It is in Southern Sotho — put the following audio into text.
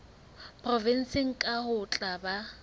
provenseng kang ho tla ba